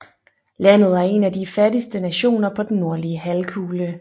Landet er en af de fattigste nationer på den nordlige halvkugle